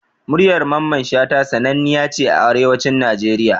Muryar mamman Shata sananniya ce a Arewacin Nigeria